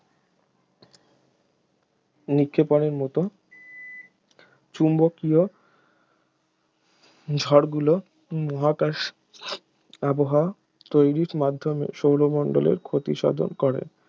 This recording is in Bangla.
নিক্ষেপণের মত চুম্বকীয় ঝড়গুলো মহাকাশ আবহাওয়া তৈরির মাধ্যমে সৌরমণ্ডলের ক্ষতি সাধন করে